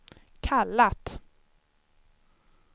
kallat